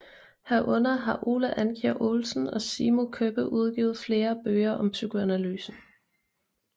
Herunder har Ole Andkjær Olsen og Simo Køppe udgivet flere bøger om psykoanalysen